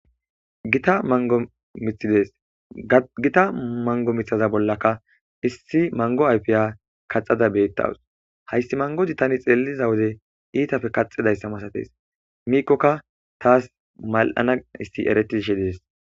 Gita mangomithides gita mango mithaza bollaka issi mango ayfiya kaxada beettawus hayssi mangodi tani xeeliza wode iitafe kaxidayssa masates miikkokka taas mal7ana issi eretishe dees